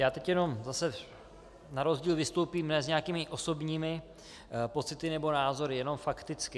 Já teď jenom zase na rozdíl vystoupím ne s nějakými osobními pocity nebo názory, jenom fakticky.